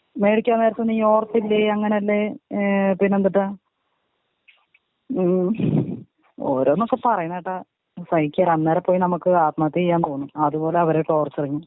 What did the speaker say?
വേടിക്കാൻ നേരത്ത് നീ ഓർത്തില്ലെ അങ്ങനല്ലേ ഏ പിന്നെന്തൂട്ടാ ഉം ഓരോന്നൊക്കെ പറയണ കേട്ട സഹിക്കില്ല അന്നേരം നമുക്ക് ആത്മഹത്യ ചെയ്യാൻ തോന്നും അത് പോലെയാ അവരെ ട്ടോർച്ചറിങ്.